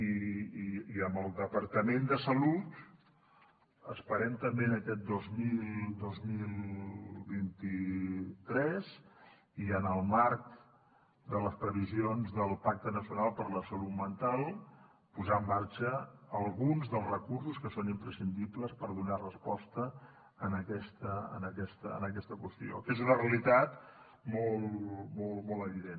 i amb el departament de salut esperem també en aquest dos mil vint tres i en el marc de les previsions del pacte nacional per a la salut mental posar en marxa alguns dels recursos que són imprescindibles per donar resposta a aquesta qüestió que és una realitat molt evident